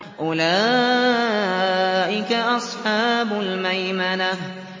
أُولَٰئِكَ أَصْحَابُ الْمَيْمَنَةِ